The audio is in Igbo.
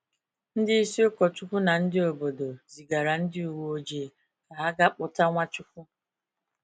Ndị isi Ukochukwu na ndị obodo zigara ndị uwe ojii ka ha ga kpụta Nwachukwu.